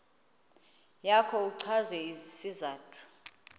yakho uchaze isizathu